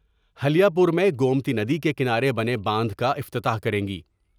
ہلیہ پور میں گومتی ندی کے کنارے بنے باندھ کا افتتاح کریں گے ۔